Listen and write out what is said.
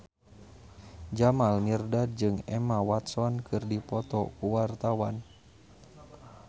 Jamal Mirdad jeung Emma Watson keur dipoto ku wartawan